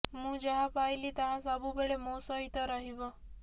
ମୁଁ ଯାହା ପାଇଲି ତାହା ସବୁବେଳେ ମୋ ସହିତ ରହିବ